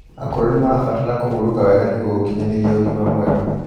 akũrũ nimarabatara kũhũrũka wega nĩguo gukinyanirĩa ũgima mwega